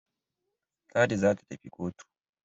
Ladi za ta tafi kotu.